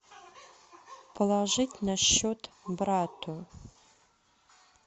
положить на счет брату